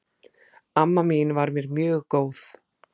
Amma mín var mér mjög góð.